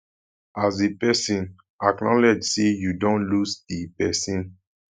as a person acknowledge sey you don lose di person